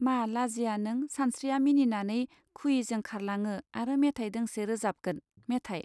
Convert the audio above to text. मा लाजिया नों सानश्रिया मिनिनानै खुयिजों खारलाङो आरो मेथाय दोंसे रोजाबगोन मेथाइ.